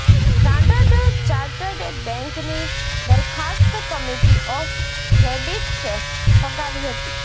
standard chartered બેન્કની દરખાસ્ત committee of ક્રેડિટર્સે ફગાવી હતી